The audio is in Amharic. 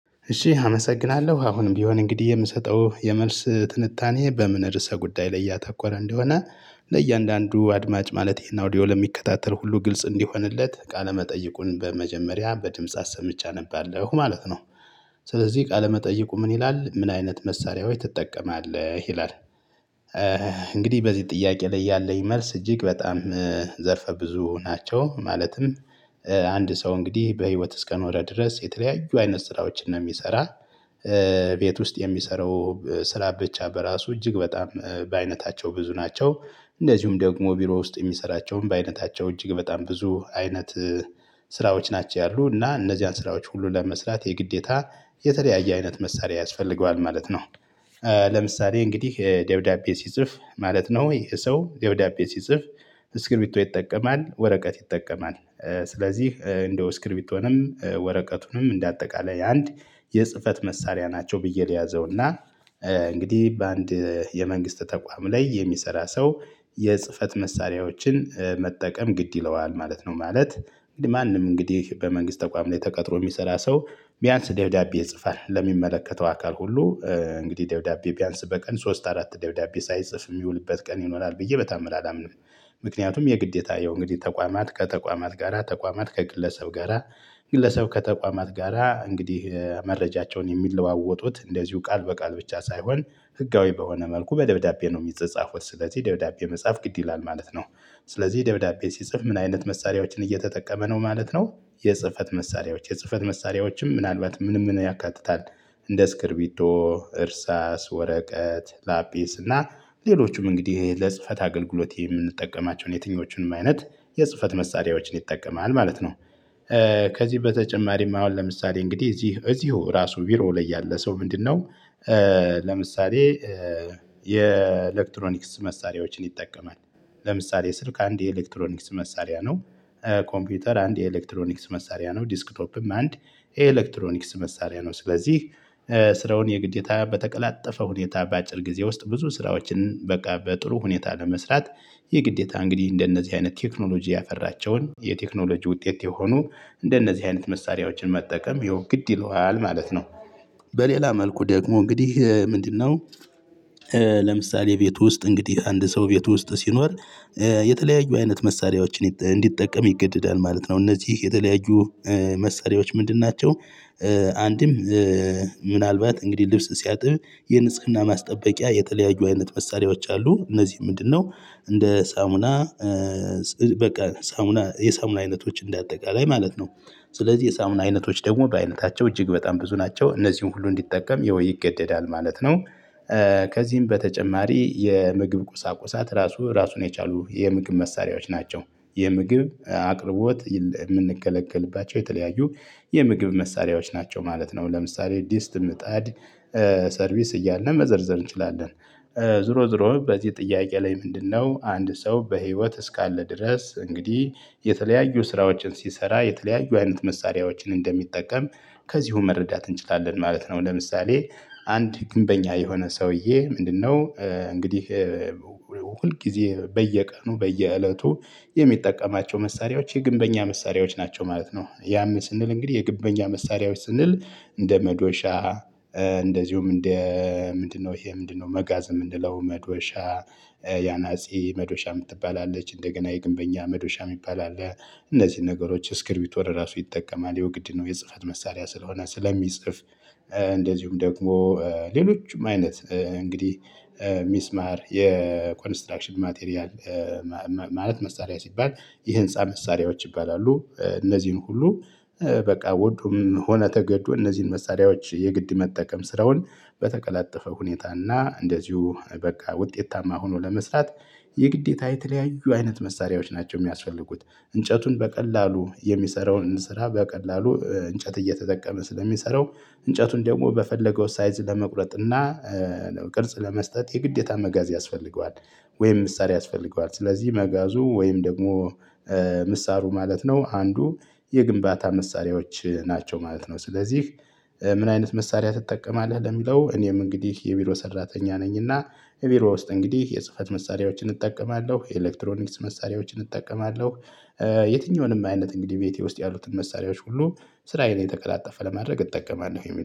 እሺ አመሰግናለሁ አሁንም ቢሆን እንግዲህ የምሰጠው የመልስ ትንታኔ በምን ርዕሰ ጉዳይ ላይ ያተኮረ እንደሆነ ለእያንዳንዱ አድማጭ ማለቴ ይህን አውዲዮ ለሚከታተል ሁሉ ግልጽ እንዲሆንለት ቃለመጠይቁን በመጀመሪያ በድምጽ አሰምቼ አነባለሁ ማለት ነው። ስለዚህ ቃለመጠይቁ ምን ይላል ምን አይነት መሳሪያዎች ትጠቀማለህ ይላል? እንግዲህ በዚህ ጥያቄ ላይ ያለኝ መልስ እጅግ በጣም ዘርፈ ብዙ ናቸው። ማለትም አንድ ሰው እንግዲህ በህይወት እስከኖረ ድረስ የተለያዩ አይነት ስራዎችን ነው የሚሰራ። ቤት ውስጥ የሚሰራው ስራ ብቻ በራሱ እጅግ በጣም በአይነታቸው ብዙ ናቸው። እንደዚሁም ደግሞ ቢሮ ውስጥ የሚሰራቸውም በአይነታቸው እጅግ በጣም ብዙ አይነት ስራዎች ናቸው። ያሉ እና እነዚያን ስራዎች ሁሉ ለመስራት የግዴታ የተለያየ አይነት መሳሪያ ያስፈልገዋል ማለት ነው። ለምሳሌ እንግዲህ ደብዳቤ ሲጽፍ ማለት ነው ይሄ ሰው ደብዳቤ ሲጽፍ እስክርቢቶ ይጠቀማል ወረቀት ይጠቀማል። ስለዚህ እንደው እስክርቢቶንም ወረቀቱንም እንደ አጠቃላይ አንድ የጽህፈት መሳሪያ ናቸው ብዬ ልያዘውና እንግዲህ በአንድ የመንግስት ተቋም ላይ የሚሰራ ሰው የጽህፈት መሳሪያዎችን መጠቀም ግድ ይለዋል ማለት ነው። ማለት ማንም እንግዲህ በመንግስት ተቋም ላይ ተቀጥሮ የሚሰራ ሰው ቢያንስ ደብዳቤ ይጽፋል ለሚመለከተው አካል ሁሉ እንግዲህ ደብዳቤ ቢያንስ በቀን ሶስት አራት ደብዳቤ ሳይጽፍ የሚውልበት ቀን ይኖራል ብዬ በተአምር አላምንም። ምክንያቱም የግዴታ ያው እንግዲህ ተቋማት ከተቋማት ጋራ ተቋማት ከግለሰብ ጋራ ግለሰብ ከተቋማት ጋራ እንግዲህ መረጃቸውን የሚለዋወጡት እንደዚሁ ቃል በቃል ብቻ ሳይሆን ህጋዊ በሆነ መልኩ በደብዳቤ ነው የሚጸጻፉት ስለዚህ ደብዳቤ መጽሐፍ ግድ ይላል ማለት ነው። ስለዚህ ደብዳቤ ሲጽፍ ምን አይነት መሳሪያዎችን እየተጠቀመ ነው ማለት ነው። የጽህፈት መሳሪያዎች የጽህፈት መሳሪያዎችም ምናልባት ምን ምን ያካትታል? እንደ እስክሪቢቶ እርሳስ ወረቀት ላጲስ እና ሌሎችም እንግዲህ ለጽህፈት አገልግሎት የምንጠቀማቸውን የትኞቹንም አይነት የጽህፈት መሳሪያዎችን ይጠቀማል ማለት ነው። ከዚህ በተጨማሪም አሁን ለምሳሌ እንግዲህ እዚህ እዚሁ ራሱ ቢሮው ላይ ያለ ሰው ምንድነው? ለምሳሌ የኤሌክትሮኒክስ መሳሪያዎችን ይጠቀማል። ለምሳሌ ስልክ አንድ የኤሌክትሮኒክስ መሳሪያ ነው ኮምፒውተር አንድ የኤሌክትሮኒክስ መሳሪያ ነው ዲስክቶፕም አንድ ኤሌክትሮኒክስ መሳሪያ ነው። ስለዚህ ስራውን የግዴታ በተቀላጠፈ ሁኔታ በአጭር ጊዜ ውስጥ ብዙ ስራዎችን በቃ በጥሩ ሁኔታ ለመስራት። የግዴታ እንግዲህ እንደነዚህ አይነት ቴክኖሎጂ ያፈራቸውን የቴክኖሎጂ ውጤት የሆኑ እንደነዚህ አይነት መሳሪያዎችን መጠቀም ይሄው ግድ ይለዋል ማለት ነው። በሌላ መልኩ ደግሞ እንግዲህ ምንድነው? ለምሳሌ ቤት ውስጥ እንግዲህ አንድ ሰው ቤት ውስጥ ሲኖር የተለያዩ አይነት መሳሪያዎችን እንዲጠቀም ይገደዳል ማለት ነው። እነዚህ የተለያዩ መሳሪያዎች ምንድን ናቸው? አንድም ምናልባት እንግዲህ ልብስ ሲያጥብ የንጽህና ማስጠበቂያ የተለያዩ አይነት መሳሪያዎች አሉ እነዚህ ምንድነው እንደ ሳሙና? በቃ ሳሙና የሳሙና አይነቶች እንደ አጠቃላይ ማለት ነው። ስለዚህ የሳሙና አይነቶች ደግሞ በአይነታቸው እጅግ በጣም ብዙ ናቸው እነዚህን ሁሉ እንዲጠቀም ያው ይገደዳል ማለት ነው። ከዚህም በተጨማሪ የምግብ ቁሳቁሳት ራሱ ራሱን የቻሉ የምግብ መሳሪያዎች ናቸው። የምግብ አቅርቦት የምንገለግልባቸው የተለያዩ የምግብ መሳሪያዎች ናቸው ማለት ነው ለምሳሌ ዲስት ምጣድ ሰርቪስ እያልነ መዘርዘር እንችላለን። ዞሮ ዞሮ በዚህ ጥያቄ ላይ ምንድነው አንድ ሰው በህይወት እስካለ ድረስ እንግዲህ የተለያዩ ስራዎችን ሲሰራ የተለያዩ አይነት መሳሪያዎችን እንደሚጠቀም ከዚሁ መረዳት እንችላለን ማለት ነው። ለምሳሌ አንድ ግንበኛ የሆነ ሰውዬ ምንድነው? እንግዲህ ሁልጊዜ በየቀኑ በየእለቱ የሚጠቀማቸው መሳሪያዎች የግንበኛ መሳሪያዎች ናቸው ማለት ነው። ያም ስንል እንግዲህ የግንበኛ መሳሪያዎች ስንል እንደ መዶሻ እንደዚሁም እንደ ምንድነው ይሄ ምንድነው መጋዝ እምንለው መዶሻ ያናጺ መዶሻ የምትባል አለች እንደገና የግንበኛ መዶሻ የሚባል አለ። እነዚህን ነገሮች እስክርቢቶ ለራሱ ይጠቀማል ያው ግድ ነው የጽህፈት መሳሪያ ስለሆነ ስለሚጽፍ። እንደዚሁም ደግሞ ሌሎችም አይነት እንግዲህ ሚስማር የኮንስትራክሽን ማቴሪያል ማለት መሳሪያ ሲባል የህንፃ መሳሪያዎች ይባላሉ እነዚህን ሁሉ በቃ ወዶም ሆነ ተገዶ እነዚህን መሳሪያዎች የግድ መጠቀም ስራውን በተቀላጠፈ ሁኔታና እንደዚሁ በቃ ውጤታማ ሆኖ ለመስራት የግዴታ የተለያዩ አይነት መሳሪያዎች ናቸው የሚያስፈልጉት። እንጨቱን በቀላሉ የሚሰራውን ስራ በቀላሉ እንጨት እየተጠቀመ ስለሚሰራው እንጨቱን ደግሞ በፈለገው ሳይዝ ለመቁረጥ እና ቅርጽ ለመስጠት የግዴታ መጋዝ ያስፈልገዋል። ወይም ምሳር ያስፈልገዋል ስለዚህ መጋዙ ወይም ደግሞ ምሳሩ ማለት ነው አንዱ የግንባታ መሳሪያዎች ናቸው ማለት ነው። ስለዚህ ምን አይነት መሳሪያ ትጠቀማለህ? ለሚለው እኔም እንግዲህ የቢሮ ሰራተኛ ነኝና እቢሮ ውስጥ እንግዲህ የጽህፈት መሳሪያዎችን እጠቀማለሁ የኤሌክትሮኒክስ መሳሪያዎችን እጠቀማለሁ። የትኛውንም አይነት እንግዲህ ቤቴ ውስጥ ያሉትን መሳሪያዎች ሁሉ ስራዬን የተቀላጠፈ ለማድረግ እጠቀማለሁ